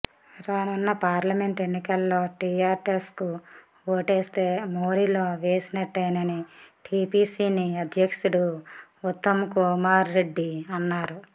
రానున్న పార్లమెంట్ ఎన్నికల్లో టీఆర్ఎస్కు ఓటేస్తే మోరీలో వేసినట్టేనని టీపీసీసీ అధ్యక్షుడు ఉత్తమ్కుమార్రెడ్డి అన్నారు